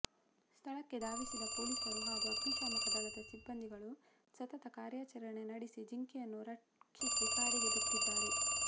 ಸ್ಥಳಕ್ಕೆ ಧಾವಿಸಿದ ಪೊಲೀಸರು ಹಾಗೂ ಅಗ್ನಿಶಾಮಕ ದಳದ ಸಿಬ್ಬಂದಿಗಳು ಸತತ ಕಾರ್ಯಾಚರಣೆ ನಡೆಸಿ ಜಿಂಕೆಯನ್ನು ರಕ್ಷಿಸಿ ಕಾಡಿಗೆ ಬಿಟ್ಟಿದ್ದಾರೆ